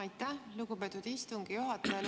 Aitäh, lugupeetud istungi juhataja!